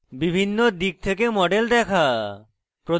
বিভিন্ন দিক থেকে model দেখা